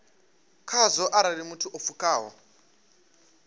khazwo arali muthu o pfukaho